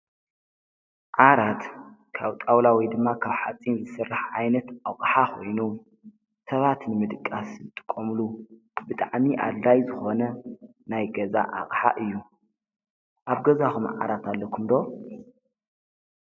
ዓራት ካብ ጣዉላ ወይ ድማ ካብ ሓፂን ዝስራሕ ዓይነት ኣቅሓ ኮይኑ ሰባት ንምድቃስ ዝጥቀምሉ ብጣዕሚ ኣድላዪ ዝኮነ ናይ ገዛ ኣቅሓ እዩ ኣብ ገዛኩም ዓራት ኣለኩም ዶ ?